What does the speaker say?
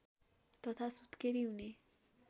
तथा सुत्केरी हुने